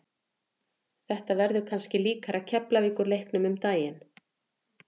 Þetta verður kannski líkara Keflavíkur leiknum um daginn.